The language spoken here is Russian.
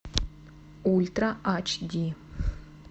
ультра ач ди